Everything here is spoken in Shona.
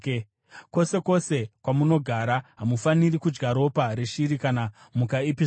Kwose kwose kwamunogara hamufaniri kudya ropa reshiri kana mhuka ipi zvayo.